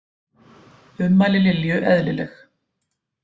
Ummæli Lilju eðlileg